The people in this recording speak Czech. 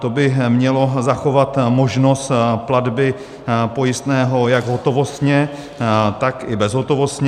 To by mělo zachovat možnost platby pojistného jak hotovostně, tak i bezhotovostně.